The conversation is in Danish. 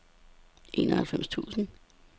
enoghalvtreds tusind